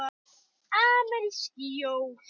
Amerísk jól.